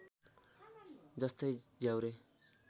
जस्तै झ्याउरे